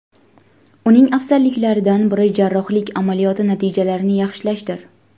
Uning afzalliklaridan biri jarrohlik amaliyoti natijalarini yaxshilashdir.